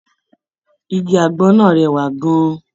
Igi àgbọn náà rẹwà gan-an.